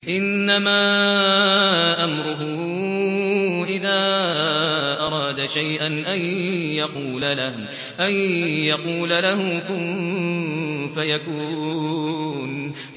إِنَّمَا أَمْرُهُ إِذَا أَرَادَ شَيْئًا أَن يَقُولَ لَهُ كُن فَيَكُونُ